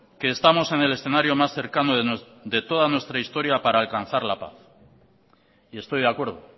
que estamos en el escenario más cercano de toda nuestra historia para alcanzar la paz y estoy de acuerdo